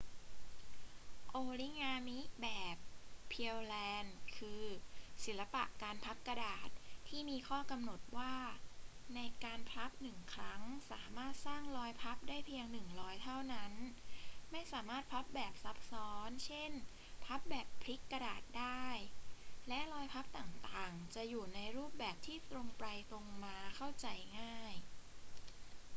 โอริงามิแบบ pureland คือ ศิลปะการพับกระดาษที่มีข้อกำหนดว่าในการพับหนึ่งครั้งสามารถสร้างรอยพับได้เพียงหนึ่งรอยเท่านั้น ไม่สามารถพับแบบซับซ้อน เช่น พับแบบพลิกกระดาษได้ และรอยพับต่าง ๆ จะอยู่ในรูปแบบที่ตรงไปตรงมาเข้าใจง่าย